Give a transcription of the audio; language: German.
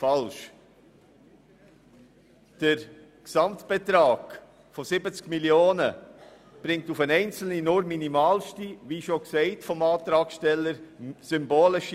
Erstens führt der Gesamtbetrag von 70 Mio. Franken für den einzelnen Steuerzahler nur zu einer minimalen, symbolischen Entlastung, wie es der Antragsteller selber gesagt hat.